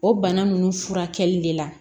O bana ninnu furakɛli de la